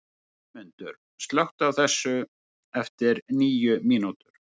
Friðmundur, slökktu á þessu eftir níu mínútur.